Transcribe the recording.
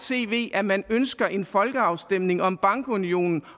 tv at man ønsker en folkeafstemning om bankunionen